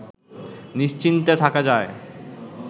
নিশ্চিন্তে থাকা যায়